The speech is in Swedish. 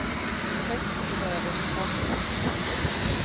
I höst får vi höra resultatet.